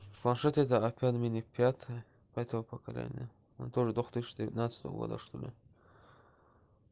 планшет это опять мини пятый пятого поколения это уже две тысячи тринадцатого года что ли